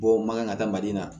Bɔ man kan ka da mali la